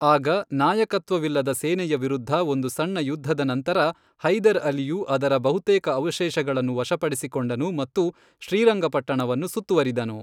ಆಗ ನಾಯಕತ್ವವಿಲ್ಲದ ಸೇನೆಯ ವಿರುದ್ಧ ಒಂದು ಸಣ್ಣ ಯುದ್ಧದ ನಂತರ, ಹೈದರ್ ಅಲಿಯು ಅದರ ಬಹುತೇಕ ಅವಶೇಷಗಳನ್ನು ವಶಪಡಿಸಿಕೊಂಡನು ಮತ್ತು ಶ್ರೀರಂಗಪಟ್ಟಣವನ್ನು ಸುತ್ತುವರಿದನು.